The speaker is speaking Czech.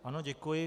Ano, děkuji.